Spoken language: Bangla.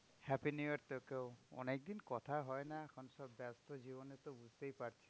Happy new year তোকেও অনেকদিন কথা হয় না এখন সব ব্যস্ত জীবনেতো বুঝতেই পারছিস।